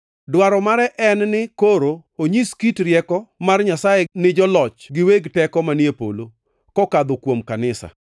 Dwaro mare ne en ni koro onyis kit rieko mar Nyasaye ni joloch gi weg teko manie polo, kokadho kuom kanisa.